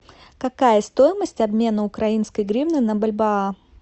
какая стоимость обмена украинской гривны на бальбоа